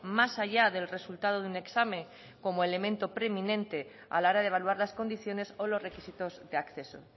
más allá del resultado de un examen como elemento preminente a la hora de evaluar las condiciones o los requisitos de acceso